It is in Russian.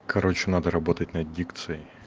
короче надо работать над дикцией